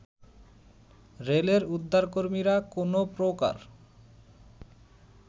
রেলের উদ্ধারকর্মীরা কোনো প্রকার